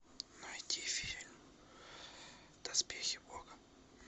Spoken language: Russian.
найди фильм доспехи бога